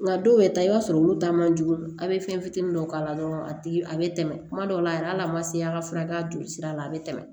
Nka dɔw yɛrɛ ta i b'a sɔrɔ olu ta man jugu a bɛ fɛn fitinin dɔw k'a la dɔrɔn a tigi a bɛ tɛmɛ kuma dɔw la yɛrɛ hali a man se a ka furakɛ a joli sira la a bɛ tɛmɛ